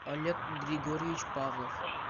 олег григорьевич павлов